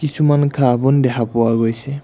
কিছুমান ঘাঁহ-বন দেখা পোৱা গৈছে।